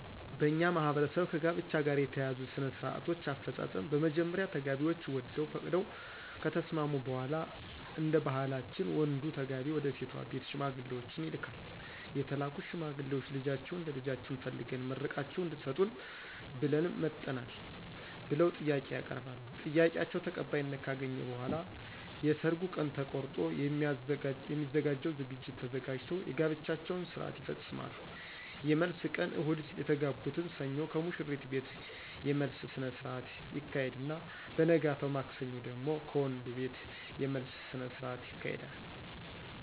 በእኛ ማህበረሰብ ከጋብቻ ጋር የተያያዙ ሥነ -ስርአቶች አፈጻጸም በመጀመሪያ ተጋቢዎች ወደው ፈቅደው ከተስማሙ በሗላ እደባህላችን ወንዱ ተጋቢ ወደሴቷ ቤት ሽማግሌዎችን ይልካል የተላኩት ሽማግሌዎች ልጃችሁን ለልጃችን ፈልገን መርቃችሁ እድትሰጡን ብለን መጠናል ብለው ጥያቄ ያቀርባሉ ጥያቄአቸው ተቀባይነት ካገኘ በሗላ የየሰርጉ ቀን ተቆርጦ የሚዘጋጀው ዝግጅት ተዘጋጅቶ የጋብቻቸውን ስርአት ይፈጾማሉ የመልስ ቀን እሁድ የተጋቡትን ሰኞ ከሙሽሪት ቤት የመልስ ስነስረአት ይካሄድና በነገታው ማክሰኞ ደግሞ ከወንዱቤት የመልስ ስነስርአት ይካሄዳል።